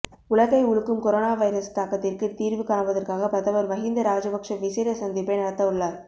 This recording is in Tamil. உலகை உலுக்கும் கொரோனா வைரஸ் தாக்கத்திற்கு தீர்வு காண்பதற்காக பிரதமர் மஹிந்த ராஜபக்ஷ விசேட சந்திப்பை நடத்தவுள்ளார்